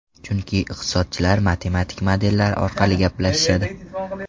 Chunki iqtisodchilar matematik modellar orqali gaplashishadi.